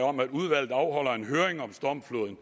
om at udvalget afholder en høring om stormfloden